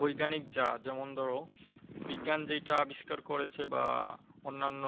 বৈজ্ঞানিক যা যেমন ধরো, বিজ্ঞান যেইটা আবিষ্কার করেছে বা অন্যান্য